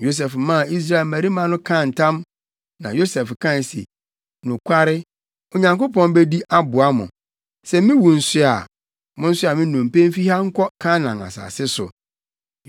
Yosef maa Israel mmabarima no kaa ntam, na Yosef kae se, “Nokware, Onyankopɔn bedi aboa mo. Sɛ miwu nso a, monsoa me nnompe mfi ha nkɔ Kanaan asase so.”